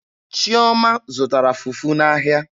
Chioma zụtara fufu n'ahịa.